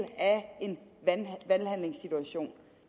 en valghandlingssituation